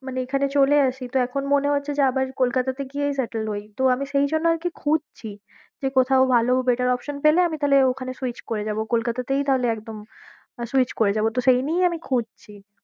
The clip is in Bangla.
মানে এখানে চলে আসি তো এখন মনে হচ্ছে যে আবার কোলকাতাতে গিয়েই settle হই, তো আমি সেই জন্য আর কি খুঁজছি যে কোথাও ভালো better option পেলে আমি তাহলে ওখানে switch করে যাবো কলকাতাতেই তাহলে একদম আহ switch করে যাবো তো সেই নিয়েই আমি খুঁজছি।